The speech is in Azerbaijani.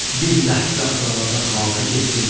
Bir ləhzə orada xabə getdim.